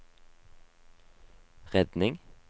redning